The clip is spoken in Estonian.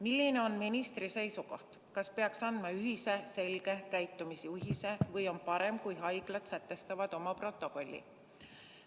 Milline on ministri seisukoht, kas peaks andma ühise selge käitumisjuhise või on parem, kui haiglad sätestavad oma protokolli?